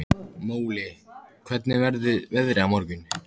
Múli, hvernig verður veðrið á morgun?